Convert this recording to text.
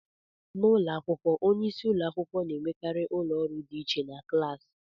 N'ụlọ akwụkwọ, onye isi ụlọ akwụkwọ na-enwekarị ụlọ ọrụ dị iche na klaasị